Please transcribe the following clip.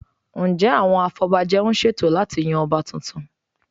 Ǹjẹ́ àwọn afọbajẹ ń ṣètò láti yan Ọba tuntun?